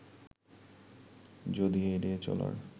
যদি এড়িয়ে চলার